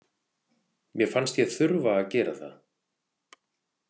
Mér fannst ég þurfa að gera það.